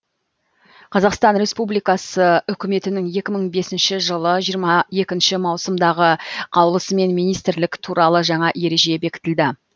қазақстан республикасы үкіметінің екі мың бесінші жылы жиырма екінші маусымдағы қаулысымен министрлік туралы жаңа ереже бекітілді